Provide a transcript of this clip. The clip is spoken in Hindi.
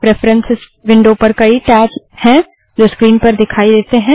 प्रेफरन्स विंडो पर कई टैब हैं जो स्क्रीन पर दिखाई देते हैं